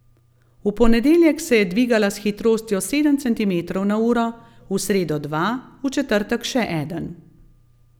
V ponedeljek se je dvigala s hitrostjo sedem centimetrov na uro, v sredo dva, v četrtek še eden.